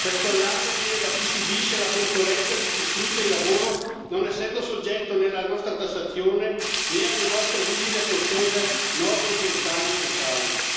Questo allarme viene da chi subisce la concorrenza di chi sfrutta il lavoro, non essendo soggetto né alla nostra tassazione né alle nostre rigide e costose norme ambientali e sociali.